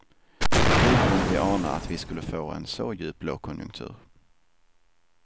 Hur kunde vi ana att vi skulle få en så djup lågkonjunktur.